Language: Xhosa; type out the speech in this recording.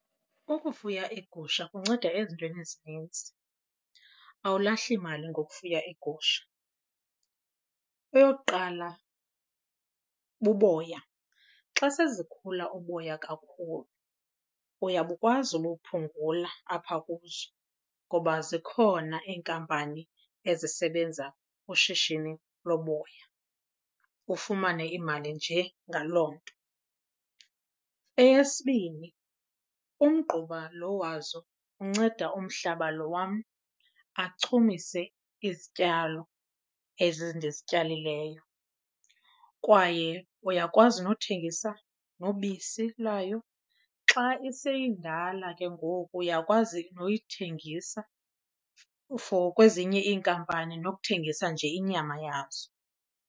Ukufuya iigusha kunceda ezintweni ezinintsi, awulahli mali ngokufuya iigusha. Eyokuqala buboya, xa sezikhula uboya kakhulu uyakwazi ukuphungula apha kuzo ngoba zikhona iinkampani ezisebenza ngoshishini loboya ufumane imali nje ngaloo nto. Eyesibini umgquba lo wazo unceda umhlaba lo wam achumise izityalo ezi ndizityalileyo kwaye uyakwazi nothengisa nobisi lwayo. Xa iseyindala ke ngoku, uyakwazi nokuyithengisa for kwezinye iinkampani nokuthengisa nje inyama yazo.